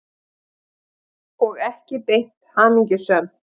Og ekki beint hamingjusöm.